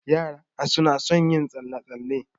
Yarana suna son yin tsalle-tsalle.